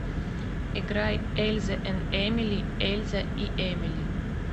играй эльза энд эмили эльза и эмили